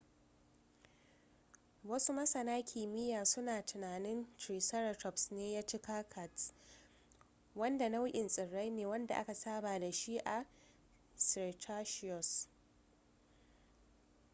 wasu masana kimiyya suna tunanin triceratops ne ya ci cycads wanda nau'in tsirrai ne wanda aka saba da shi a cikin cretaceous